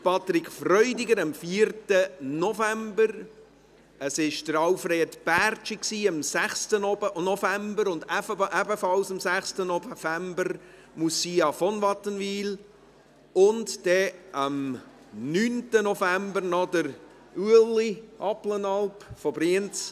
Patrick Freudiger hatte am 4. November Geburtstag, Alfred Bärtschi am 6. November, ebenfalls am 6. November Moussia von Wattenwyl, und am 9. November auch noch Ueli Abplanalp aus Brienz.